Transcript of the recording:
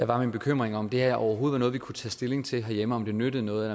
var min bekymring om det her overhovedet var noget vi kunne tage stilling til herhjemme og om det nyttede noget